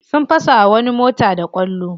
Sun fasa wa wani mota da kwallo.